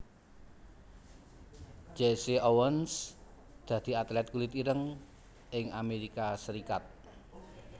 Jesse Owens dadi atlét kulit ireng ing Amérika Serikat